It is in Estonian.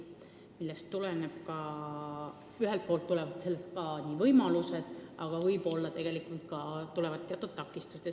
Sellest tulenevad ühelt poolt võimalused, aga võib-olla ka teatud takistused.